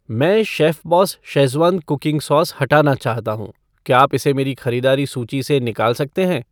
मैं chef boss Schezwan cooking sauce हटाना चाहता हूँ , क्या आप इसे मेरी खरीदारी सूची से निकाल सकते हैं?